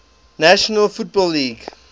national football league